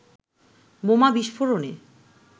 বোমা বিস্ফোরণে